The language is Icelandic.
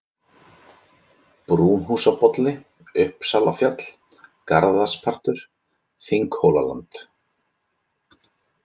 Brúnhúsabolli, Uppsalafjall, Garðarspartur, Þinghólaland